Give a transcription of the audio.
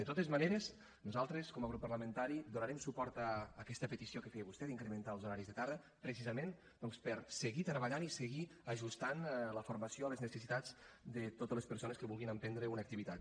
de totes maneres nosaltres com a grup parlamentari donarem suport a aquesta petició que feia vostè d’incrementar els horaris de tarda precisament doncs per seguir treballant i seguir ajustant la formació a les necessitats de totes les persones que vulguin emprendre una activitat